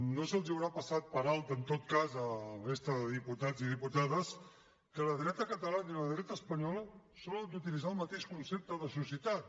no els deu haver passat per alt en tot cas a la resta de diputats i diputades que la dreta catalana i la dreta espanyola solen utilitzar el mateix concepte de societat